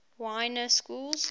y na schools